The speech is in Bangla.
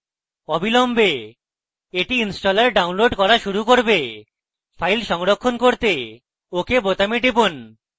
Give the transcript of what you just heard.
অবিলম্বে এটি installer downloading করা শুরু করবে file সংরক্ষণ করতে ok বোতামে টিপুন